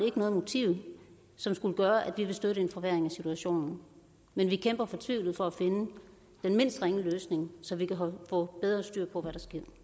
ikke noget motiv som skulle gøre at vi ville støtte en forværring af situationen men vi kæmper fortvivlet for at finde den mindst ringe løsning så vi kan få bedre styr på hvad